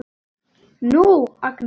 Nú, Agnes.